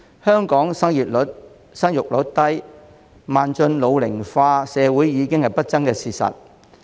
香港生育率低，邁進老齡化社會已是不爭的事實。